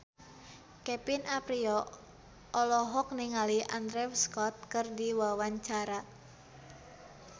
Kevin Aprilio olohok ningali Andrew Scott keur diwawancara